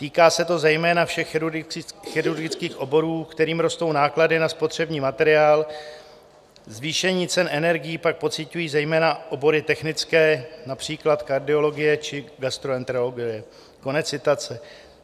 Týká se to zejména všech chirurgických oborů, kterým rostou náklady na spotřební materiál, zvýšení cen energií pak pociťují zejména obory technické, například kardiologie či gastroenterologie." Konec citace.